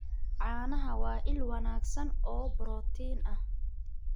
Caanaha waa il wanaagsan oo borotiin ah.